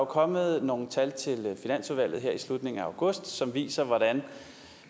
kommet nogle tal til finansudvalget her i slutningen af august som viser